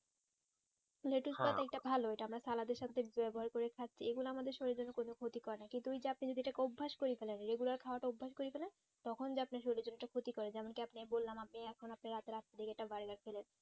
এইটা ভালো এটা আমরা salad এর সাথে ব্যবহার করে খাচ্ছি এগুলা আমাদের শরীরের কোনো ক্ষতি করে না কিন্তু ওই অভ্যাস করেফেলেন এ গুলা আর খাওয়াটা অভ্যাস করে ফেলেন শরীরের জন্য ক্ষতিকর যেমন কি আপনি বললাম আগে এখন আপনি এত রাত্রে একটা charger খেলেন